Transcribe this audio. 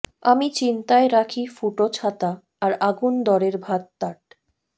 আমি চিন্তায় রাখি ফুটো ছাতা আর আগুন দরের ভাত টাত